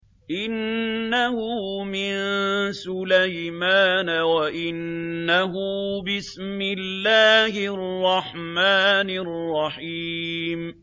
إِنَّهُ مِن سُلَيْمَانَ وَإِنَّهُ بِسْمِ اللَّهِ الرَّحْمَٰنِ الرَّحِيمِ